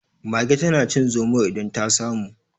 Mage tana cin zomo idan ta samu.